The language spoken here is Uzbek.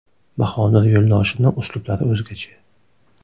Bahodir Yo‘ldoshevni uslublari o‘zgacha.